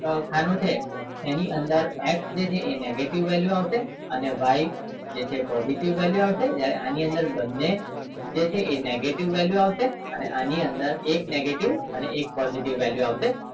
ખાનું છે એની અંદર x એ negative value આવશે અને y છે એ positive value આવશે જયારે આની અંદર બને જે છે એ એ negative value આવશે અને આની અંદર એક negative અને એક positive value આવશે